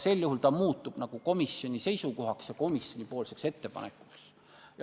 Sellisel juhul muutub esitatud seisukoht komisjoni seisukohaks ja komisjoni ettepanekuks.